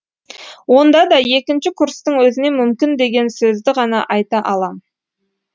онда да екінші курстың өзіне мүмкін деген сөзді ғана айта алам